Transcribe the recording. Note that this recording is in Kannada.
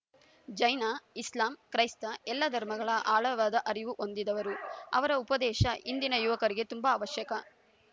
ಜೈನ ಇಸ್ಲಾಂ ಕ್ರೈಸ್ತ ಎಲ್ಲ ಧರ್ಮಗಳ ಆಳವಾದ ಅರಿವು ಹೊಂದಿದವರು ಅವರ ಉಪದೇಶ ಇಂದಿನ ಯುವಕರಿಗೆ ತುಂಬಾ ಅವಶ್ಯಕ